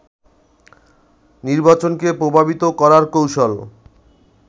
নির্বাচনকে প্রভাবিত করার কৌশল